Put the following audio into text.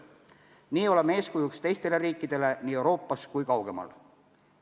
Nii oleme eeskujuks teistele riikidele nii Euroopas kui kaugemal.